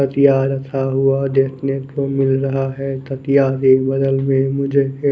तकिया रखा हुआ देखने को मिल रहा है तकिया मुझे --